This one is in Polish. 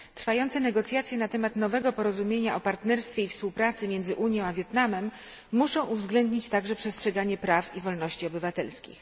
Trwające negocjacje na temat nowego porozumienia o partnerstwie i współpracy między Unią a Wietnamem muszą uwzględnić także przestrzeganie praw i wolności obywatelskich.